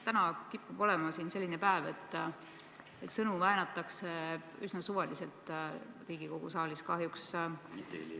Täna kipub olema selline päev, et sõnu väänatakse siin Riigikogu saalis kahjuks üsna suvaliselt.